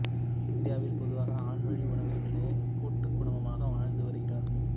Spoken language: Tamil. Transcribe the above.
இந்தியாவில் பொதுவாக ஆண்வழி உறவினர்களே கூட்டுக் குடும்பமாக வாழ்ந்து வருகிறார்கள்